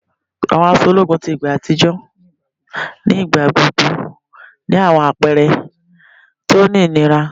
Àwọn aṣọ ológun ti igba àtijọ́ nígbà gbogbo ni àwọn àpẹrẹ ti o ní ìnira